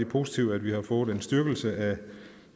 positivt at vi har fået en styrkelse af